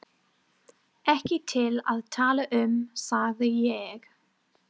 Ekki til að tala um, sagði ég.